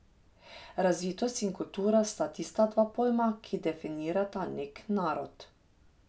Razvitost in kultura sta tista dva pojma, ki definirata nek narod.